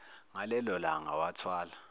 ngalelo langa wathwala